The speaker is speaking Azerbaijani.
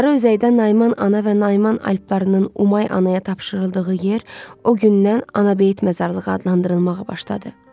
Sarı özəydən Naiman ana və Naiman alplarının Umay anaya tapşırıldığı yer o gündən Ana beyit məzarlığı adlandırılmağa başladı.